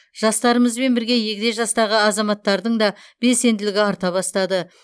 жастарымызбен бірге егде жастағы азаматтардың да белсенділігі арта бастады